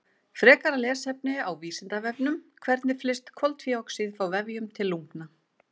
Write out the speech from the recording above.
Frekara lesefni á Vísindavefnum: Hvernig flyst koltvíoxíð frá vefjum til lungna?